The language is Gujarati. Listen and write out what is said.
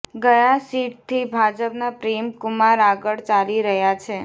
ગયા સીટથી ભાજપના પ્રેમ કુમાર આગળ ચાલી રહ્યા છે